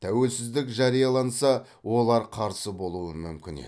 тәуелсіздік жарияланса олар қарсы болуы мүмкін еді